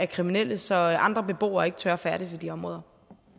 kriminelle så andre beboere ikke tør færdes i de områder